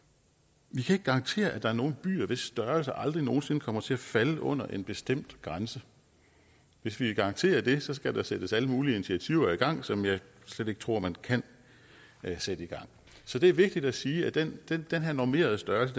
vi kan ikke garantere at der er nogle byer hvis størrelse aldrig nogen sinde kommer til at falde under en bestemt grænse hvis vi vil garantere det skal der sættes alle mulige initiativer i gang som jeg slet ikke tror man kan sætte i gang så det er vigtigt at sige at den den her normerede størrelse